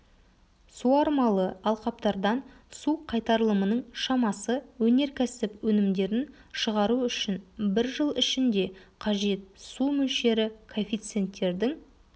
суармалы алқаптардан су қайтарылымының шамасы өнеркәсіп өнімдерін шығару үшін бір жыл ішінде қажет су мөлшері коэффициенттердің